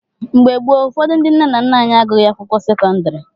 Mgbe gboo, ụfọdụ ndị nna nna anyị agụghị akwụkwọ sekọndrị.